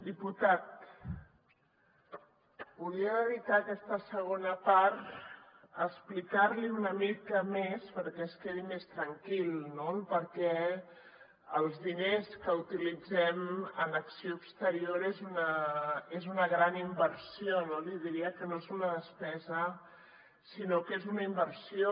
diputat volia dedicar aquesta segona part a explicar li una mica més perquè es quedi més tranquil no el perquè els diners que utilitzem en acció exterior són una gran inversió no li diria que no és una despesa sinó que és una inversió